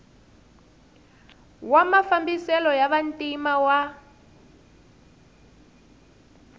wa mafambiselo ya vantima wa